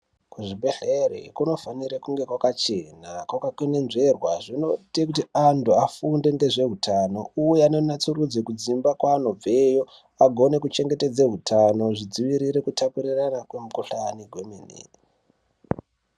kuzvibhehlere kunofanire kunge kwaka chena kwakakononzverwa zvinoite kuti anhu afunde ngezveutano uye anonatsurudze kudzimba kwaanobveyo agone kuchengetedze utano zvidzivirire kutapurirane kwemukhuhlani zvemene.